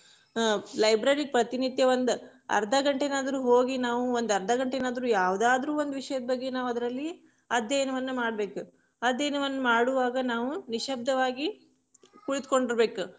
ಅಹ್ library ಪ್ರತಿ ನಿತ್ಯ ಒಂದ, ಅರ್ಧ ಗಂಟೆನಾದ್ರು ಹೋಗಿ ನಾವು ಒಂದ್ ಅರ್ಧ ಗಂಟೆನಾದ್ರು ಯಾವದಾದ್ರು ಒಂದು ವಿಷಯದ ಬಗ್ಗೆ ನಾವ್ ಅದ್ರಲ್ಲಿ ಅಧ್ಯಯನವನ್ನ ಮಾಡ್ಬೇಕ, ಅಧ್ಯಯನವನ್ನ ಮಾಡುವಾಗ ನಾವು ನಿಶ್ಯಬ್ದವಾಗಿ ಕುಳಿತ್ಕೊಂಡಿರ್ಬೇಕ್.